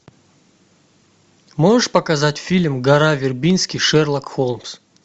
можешь показать фильм гора вербински шерлок холмс